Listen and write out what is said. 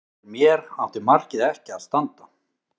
Fyrir mér átti markið ekki að standa.